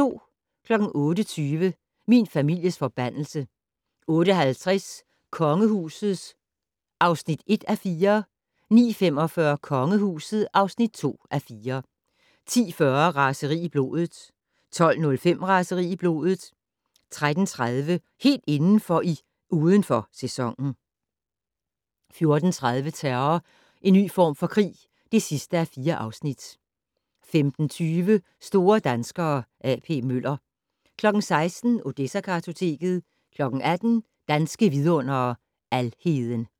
08:20: Min families forbandelse 08:50: Kongehuset (1:4) 09:45: Kongehuset (2:4) 10:40: Raseri i blodet 12:05: Raseri i blodet 13:30: Helt indenfor i "Uden for Sæsonen" 14:30: Terror - en ny form for krig (4:4) 15:20: Store danskere - A.P. Møller 16:00: Odessa-kartoteket 18:00: Danske Vidundere: Alheden